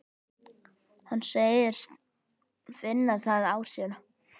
Hann segist finna það á sér.